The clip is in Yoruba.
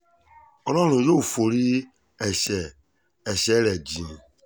ọlọ́run yóò forí ẹ̀ṣẹ̀ ẹ̀ṣẹ̀ rẹ̀ jìn ín